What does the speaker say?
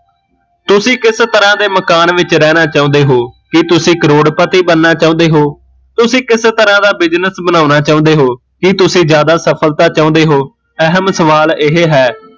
ਤੁਸੀਂ ਕਿਸ ਤਰਾਂ ਦੇ ਮਕਾਨ ਵਿੱਚ ਰਹਿਣਾ ਚਾਹੁੰਦੇ ਹੋ, ਕੀ ਤੁਸੀਂ ਕਰੋੜਪਤੀ ਬਣਨਾ ਚਾਉਂਦੇ ਹੋ, ਤੁਸੀਂ ਕਿਸ ਤਰਾਂ ਦਾ ਬਜ਼ਸ ਬਣਾਉਣਾ ਚਾਉਂਦੇ ਹੋ, ਕੀ ਤੁਸੀਂ ਜਿਆਦਾ ਸਫਲਤਾ ਚਾਉਂਦੇ ਹੋ, ਅਹਿਮ ਸਵਾਲ ਇਹ ਹੈ